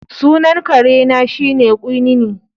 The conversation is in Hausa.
Sunan kare na shine Quinine